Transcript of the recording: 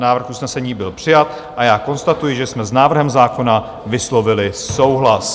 Návrh usnesení byl přijat a já konstatuji, že jsme s návrhem zákona vyslovili souhlas.